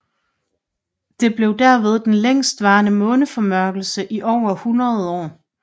Det blev derved den længstvarende måneformørkelse i over 100 år